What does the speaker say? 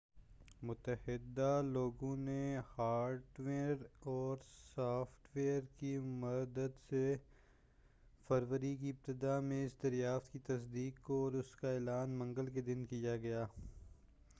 متعدد لوگوں نے ہارڈ ویر اور سافٹ ویر کی مدد سے فروری کی ابتداء میں اس دریافت کی تصدیق کی اور اس کا اعلان منگل کے دن کیا گیا